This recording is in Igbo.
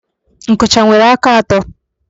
Nkucha nwere aka atọ